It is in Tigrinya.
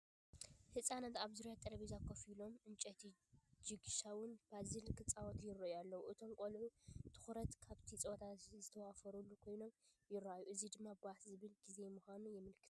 ህጻናት ኣብ ዙርያ ጠረጴዛ ኮፍ ኢሎም ዕንጨይቲ ጂግሳው ፓዝል ክጻወቱ ይረኣዩ ኣለው ። እቶም ቆልዑ ትኩራትን ኣብቲ ጸወታ ዝተዋፈሩን ኮይኖም ይረኣዩ፣ እዚ ድማ ባህ ዘብል ግዜ ምዃኑ የመልክት።